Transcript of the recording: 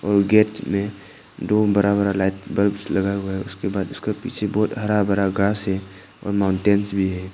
Gate में दो बड़ा बड़ा लाइट बल्ब्स लगा हुआ है उसके बाद उसका पीछे बहुत हरा भरा ग्रास है और माउंटेंस भी है।